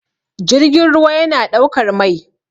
jirgin ruwa yana ɗaukar Mai